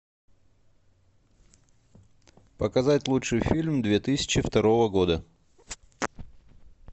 показать лучший фильм две тысячи второго года